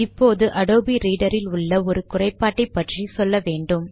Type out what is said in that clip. இப்போது Adobe Reader இல் உள்ள ஒரு குறைபாட்டை பற்றி சொல்ல வேண்டும்